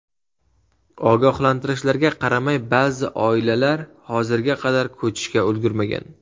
Ogohlantirishlarga qaramay, ba’zi oilalar hozirga qadar ko‘chishga ulgurmagan.